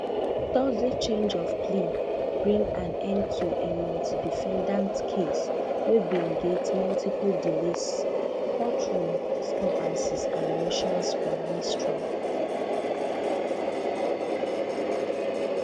thursday change of plea bring an end to a multidefendant case wey bin get multiple delays courtroom disturbances and motions for mistrial